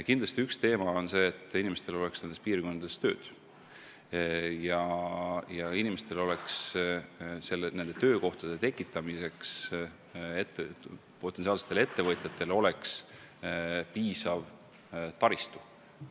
Kindlasti üks eesmärk on see, et inimestel oleks maal tööd ja potentsiaalsetel ettevõtjatel oleks töökohtade tekitamiseks piisav taristu.